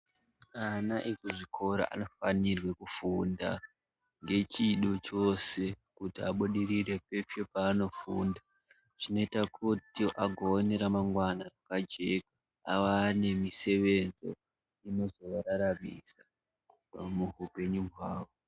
Ana ekuzvikora anofanirwe kufunda ngechido chose kuti abudire peshe paanofunda. Zvinoite kuti agone remangwana rakajeka ava nemisevenzo inozovararamisa muupenyu hwavo.